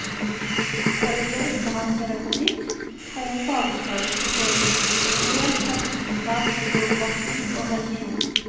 Selv om jeg ikke har pedagogikk, har jeg fagutdannelse i både historie, samfunnsfag, geografi og religion.